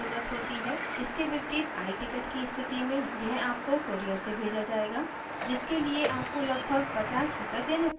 इसके विपरीत iticket की स्थिति में यह आपको courier से भेजा जायेगा जिसके लिए आपको लगभग 50 रूपए देने पड़ेंगे